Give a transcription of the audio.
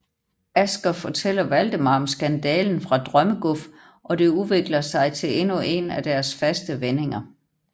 Asger fortæller Waldemar om skandalen fra Drømmeguf og det udvikler sig til endnu en af deres faste vendinger